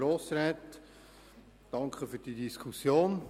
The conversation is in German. Danke für diese Diskussion.